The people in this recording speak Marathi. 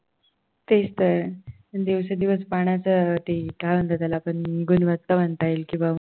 तेच तर दिवसेंदिवस पाण्याचं काय म्हणतात त्याला आपण गुणवत्ता म्हणता येईल किंवा